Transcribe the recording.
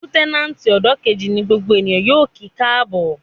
Lútẹ́nàtì ọ́dọ̀ kejì ní gbogbo èèyàn yóò kí káàbọ̀